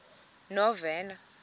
novena